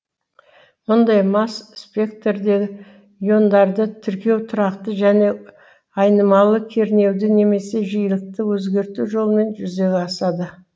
мұндай масс спектрдегі иондарды тіркеу тұрақты және айнымалы кернеуді немесе жиілікті өзгерту жолымен жүзеге асады